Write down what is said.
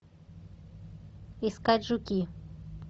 искать жуки